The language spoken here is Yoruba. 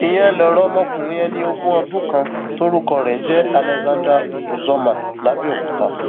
ìyẹn lọrọ ọmọkùnrin ẹni ogún ọdún kan tórúkọ ẹ ń jẹ alexander uzoma làbẹọkúta